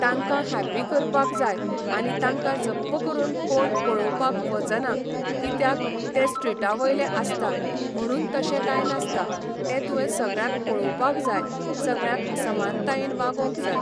तांकां हॅप्पी करपाक जाय आनी तांकां जप्प करून कोण पळोवपाक वचना कित्याक ते स्ट्रिटा वयले आसता म्हणून तशें काय नासता तें तुवें सगळ्यांक पळोवपाक जाय सगळ्यांक समानतायेन वागोंग जाय.